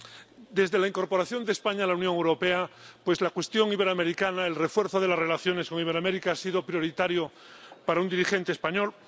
Señor presidente. Desde la incorporación de España a la Unión Europea, la cuestión iberoamericana, el refuerzo de las relaciones con Iberoamérica ha sido prioritario para un dirigente español.